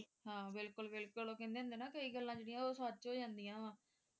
ਹਾਂ ਬਿਲਕੁਲ ਬਿਲਕੁਲ ਇਹ ਲਕੀਂਦੇ ਹੁੰਦੇ ਹੈਂ ਨਾ ਕਈ ਗੱਲਾਂ ਜਿਹੜੀਆਂ ਉਹ ਸੱਚ ਹੋ ਜਾਂਦੀਆਂ ਵਾ